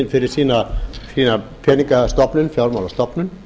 fyrir sína peningastofnun fjármálastofnun